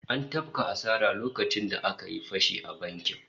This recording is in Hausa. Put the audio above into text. An tafka asara lokacin da aka yi fashi a bankin